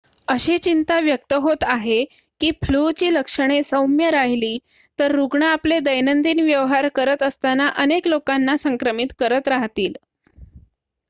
अशी चिंता व्यक्त होत आहे की फ्लूची लक्षणे सौम्य राहिली तर रुग्ण आपले दैनंदिन व्यवहार करत असताना अनेक लोकांना संक्रमित करत राहतील